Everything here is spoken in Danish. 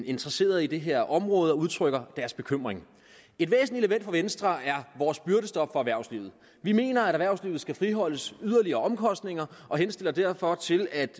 interesseret i det her område som udtrykker deres bekymring et væsentligt element for venstre er vores byrdestop for erhvervslivet vi mener at erhvervslivet skal friholdes yderligere omkostninger og henstiller derfor til at